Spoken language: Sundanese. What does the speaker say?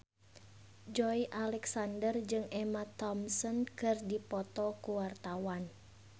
Joey Alexander jeung Emma Thompson keur dipoto ku wartawan